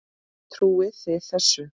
Trúið þið þessu?